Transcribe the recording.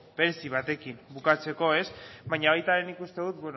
batekin bukatzeko baina nik uste dut